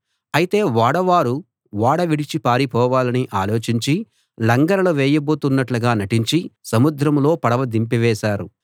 అయితే ఓడవారు ఓడ విడిచి పారిపోవాలని ఆలోచించి లంగరులు వేయబోతున్నట్లుగా నటించి సముద్రంలో పడవ దింపివేశారు